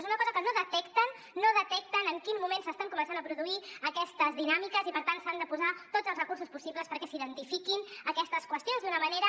és una cosa que no detecten en quin moment s’estan començant a produir aquestes dinàmiques i per tant s’han de posar tots els recursos possibles perquè s’identifiquin aquestes qüestions d’una manera